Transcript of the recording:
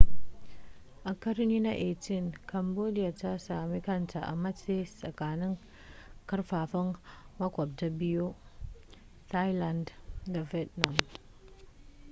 a ƙarni na 18 cambodia ta sami kanta a matse tsakanin karfafan maƙwabta biyu thailand da vietnam